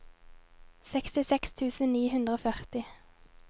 sekstiseks tusen ni hundre og førti